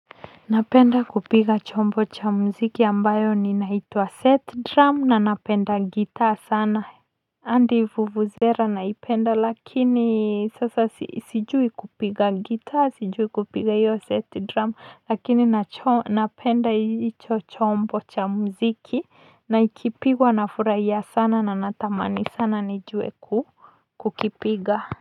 Napenda kupiga chombo cha muziki ambacho huitwa set drum na ninapenda gitaa sana andi vuvuzera naipenda lakini sasa sijui kupiga gitaa sijui kupiga iyo set drum lakini napenda icho chombo cha mziki na ikipigwa na furaia sana na natamani sana nijue kukipiga.